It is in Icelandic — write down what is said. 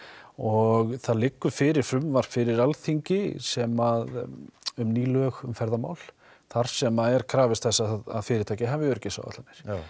og það liggur fyrir frumvarp fyrir Alþingi sem að um ný lög um ferðamál sem þar sem að er krafist þess að fyrirtæki hafi öryggisáætlanir